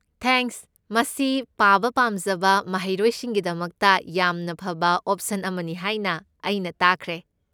Thanks, ꯃꯁꯤ ꯄꯥꯕ ꯄꯥꯝꯖꯕ ꯃꯍꯩꯔꯣꯏꯁꯤꯡꯒꯤꯗꯃꯛꯇ ꯌꯥꯝꯅ ꯐꯕ ꯑꯣꯞꯁꯟ ꯑꯃꯅꯤ ꯍꯥꯏꯅ ꯑꯩꯅ ꯇꯥꯈ꯭ꯔꯦ꯫